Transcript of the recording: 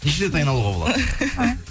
неше рет айналуға болады